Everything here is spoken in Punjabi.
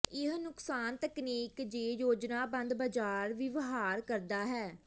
ਇਹ ਨੁਕਸਾਨ ਤਕਨੀਕ ਜੇ ਯੋਜਨਾਬੱਧ ਬਾਜ਼ਾਰ ਵਿਵਹਾਰ ਕਰਦਾ ਹੈ